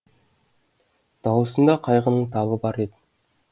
дауысында қайғының табы бар еді